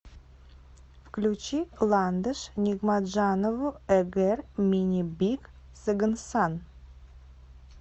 включи ландыш нигматжанову эгэр мине бик сагынсан